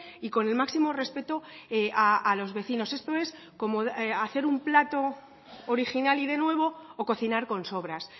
y con el máximo respeto a los vecinos esto es como hacer un plato original y de nuevo o cocinar con sobras